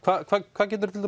hvað geturðu til